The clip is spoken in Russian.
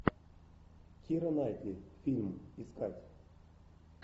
кира найтли фильм искать